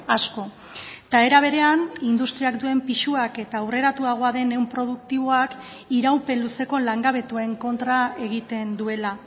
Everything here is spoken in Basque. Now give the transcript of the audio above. asko eta era berean industriak duen pisuak eta aurreratuagoa den ehun produktiboak iraupen luzeko langabetuen kontra egiten duela